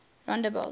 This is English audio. rondebult